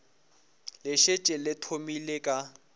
le šetše le thomile ka